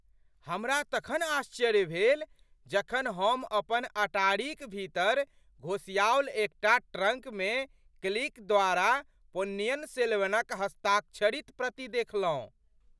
हमरा तखन आश्चर्य भेल जखन हम अपन अटारीक भीतर घोसियाओल एकटा ट्रङ्कमे कल्कि द्वारा पोन्नियिन सेल्वनक हस्ताक्षरित प्रति देखलहुँ।